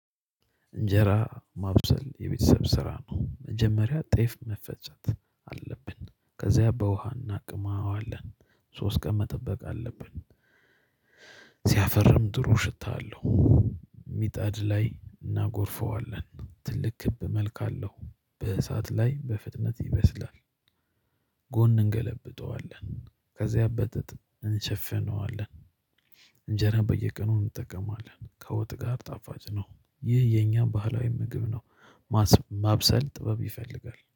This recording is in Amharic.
እንጀራ ማብሰል የቤተሰብ ስራ ነው። መጀመሪያ ጤፍ መፈጨት አለብን ከዚያ በውሃ እናቅመዋለን ሶስት ቀን መጠበቅ አለብን። ሲያፈርም ጥሩ ሽታ አለው። ምጣድ ላይ እናጎርፈዋለን። ትልቅ ክብ መልካ አለው። በእሳት ላይ በፍጥነት ይበስላል። ጎን እንገለብጠዋለን ከዚያ በጥጥ እንሸፍነዋለን። እንጀራ በየቀኑ እንጠቀማለን ከወጥ ጋር ጣፋጭ ነው። ይህ የኛ ባህላዊ ምግብ ነው። ማስ ማብሰል ጥበብ ይፈልጋል